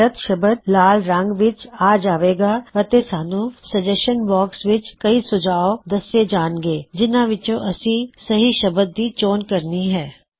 ਗੱਲਤ ਸ਼ਬਦ ਲਾਲ ਰੰਗ ਵਿੱਚ ਆ ਜਾਵੇਗਾ ਅਤੇ ਸਾਨੂੰ ਸੁਝਾਅ ਬਾਕ੍ਸ ਵਿੱਚ ਕਈ ਸੁਝਾਅ ਦੱਸੇ ਜਾਂਨਗੇ ਜਿਨਹਾ ਵਿੱਚੋ ਅਸੀ ਸਹੀ ਸ਼ਬਦ ਦੀ ਚੋਣ ਕਰਨੀ ਹੈ